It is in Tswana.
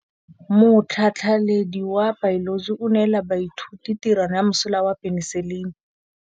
Motlhatlhaledi wa baeloji o neela baithuti tirwana ya mosola wa peniselene.